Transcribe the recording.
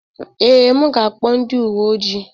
Ee, m ga-akpọ ndị uwe ojii.